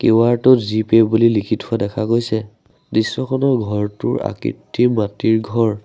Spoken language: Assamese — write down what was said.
ৱাৰটো জিপে বুলি লিখি থকা দেখা গৈছে দৃশ্যখনৰ ঘৰটোৰ আকৃতি মাটিৰ ঘৰ।